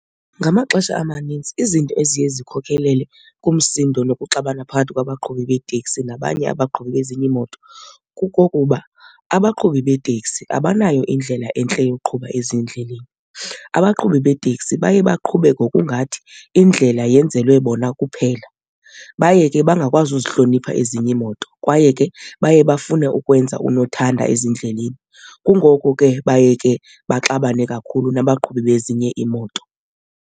Ngamaxesha amanintsi izinto eziye zikhokhelele kumsindo nokuxabisa mna phakathi kwabaqhubi beeteksi nabanye abaqhubi bezinye iimoto kukokuba abaqhubi beeteksi abanayo indlela entle yokuqhuba ezindleleni. Abaqhubi beeteksi baye baqhube ngokungathi indlela yenzelwe bona kuphela, baye ke bangakwazi uzihlonipha ezinye iimoto kwaye ke baye bafune ukwenza unothanda ezindleleni. Kungoko ke baye ke baxabane kakhulu nabaqhubi bezinye iimoto.